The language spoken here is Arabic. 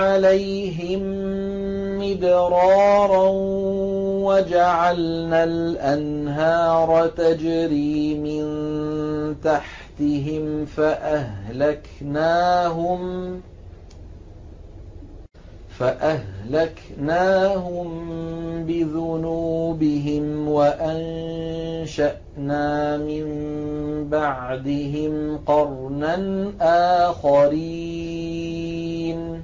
عَلَيْهِم مِّدْرَارًا وَجَعَلْنَا الْأَنْهَارَ تَجْرِي مِن تَحْتِهِمْ فَأَهْلَكْنَاهُم بِذُنُوبِهِمْ وَأَنشَأْنَا مِن بَعْدِهِمْ قَرْنًا آخَرِينَ